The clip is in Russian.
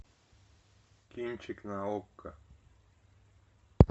кинчик на окко